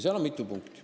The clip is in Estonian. Seal on mitu punkti.